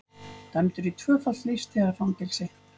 Dæmdur í tvöfalt lífstíðarfangelsi